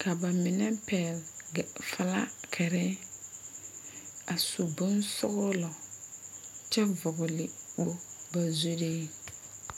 ka ba mine pɛgle filakiri a su bonsɔglɔ kyɛ vɔgle kpori ba zuriŋ.